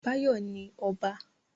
Báyọ̀ ni ọba